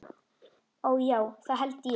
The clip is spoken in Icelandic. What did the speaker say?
Ó, já, það held ég.